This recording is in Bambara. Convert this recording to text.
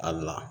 Ali